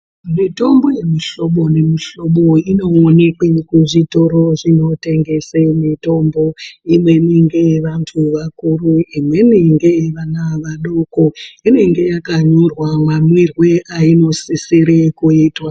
Mitombo yemihlobo nemihlobo inoonekwe kuzvitoro zvinotengese mitombo. Imweni ngeyevantu vakuru, imweni ngeyevana vadoko. Inenge yakanyorwa mamwirwe ainosisire kuitwa.